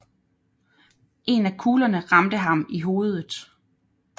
En af kuglerne ramte ham i hovedet